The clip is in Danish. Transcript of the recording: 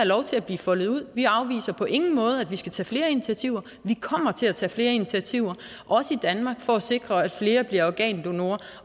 lov til at blive foldet ud vi afviser på ingen måde at vi skal tage flere initiativer vi kommer til at tage flere initiativer også i danmark for at sikre at flere bliver organdonorer